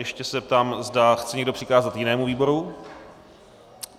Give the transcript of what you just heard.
Ještě se zeptám, zda chce někdo přikázat jinému výboru.